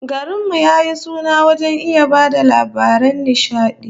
Garin mu ya yi suna wajen iya ba da labaran nishadi